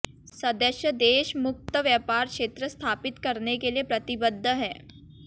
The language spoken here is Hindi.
सदस्य देश मुक्त व्यापार क्षेत्र स्थापित करने के लिये प्रतिबद्ध हैं